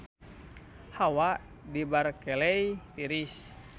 Hawa di Berkeley tiris